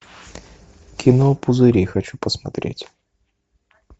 кино пузыри хочу посмотреть